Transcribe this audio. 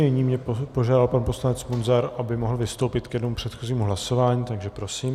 Nyní mě požádal pan poslanec Munzar, aby mohl vystoupit k jednomu předchozímu hlasování, takže prosím.